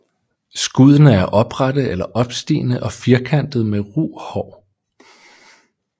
Skuddene er oprette eller opstigende og firkantede med ru hår